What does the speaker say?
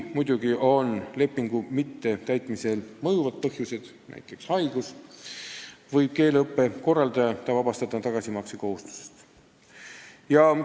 Kui lepingu mittetäitmisel on mõjuvad põhjused , võib keeleõppe korraldaja ta tagasimakse kohustusest vabastada.